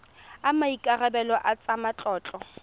a maikarebelo a tsa matlotlo